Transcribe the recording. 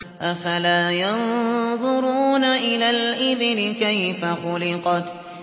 أَفَلَا يَنظُرُونَ إِلَى الْإِبِلِ كَيْفَ خُلِقَتْ